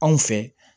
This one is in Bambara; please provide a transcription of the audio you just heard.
Anw fɛ